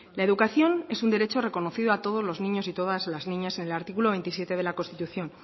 la educación es un derecho reconocido a todos los niños y todas las niñas en al artículo veintisiete de la constitución